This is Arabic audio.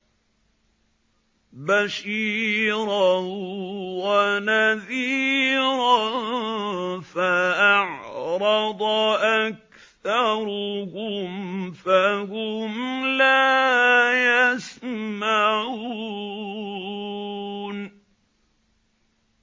بَشِيرًا وَنَذِيرًا فَأَعْرَضَ أَكْثَرُهُمْ فَهُمْ لَا يَسْمَعُونَ